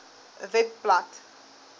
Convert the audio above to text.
webblad